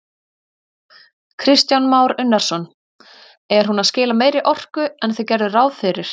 Kristján Már Unnarsson: Er hún að skila meiri orku en þið gerðuð ráð fyrir?